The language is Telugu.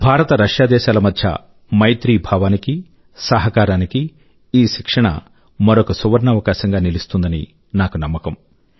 భారత్రశ్యా దేశాల మధ్య మైత్రీభావానికి సహకారాని కీ ఈ శిక్షణ మరొక సువర్ణావకాశం గా నిలుస్తుందని నాకు నమ్మకం